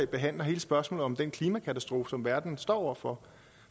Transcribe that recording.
behandler hele spørgsmålet om den klimakatastrofe som verden står over for